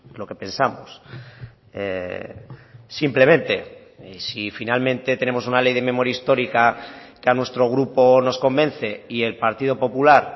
lo que pensamos simplemente si finalmente tenemos una ley de memoria histórica que a nuestro grupo nos convence y el partido popular